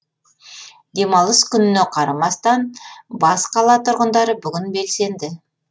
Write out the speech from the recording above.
демалыс күніне қарамастан бас қала тұрғындары бүгін белсенді